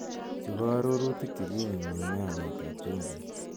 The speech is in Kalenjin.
Chu ko arorutik che kinyum nyumee ameet ap chumbiik.